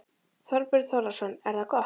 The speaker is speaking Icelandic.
Þorbjörn Þórðarson: Er það gott?